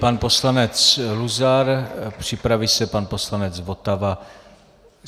Pan poslanec Luzar, připraví se pan poslanec Votava.